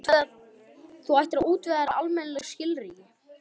Þú ættir að útvega þér almennileg skilríki.